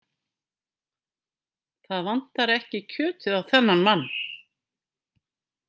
Það vantar ekki kjötið á þennan mann.